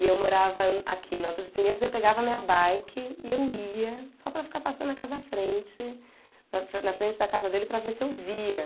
E eu morava aqui, no Alta de Pinheiros, e eu pegava a minha bike e eu ia só para ficar passando na casa da frente, na frente da casa dele, para ver se eu via.